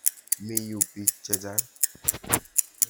Mi yu piik che chang'.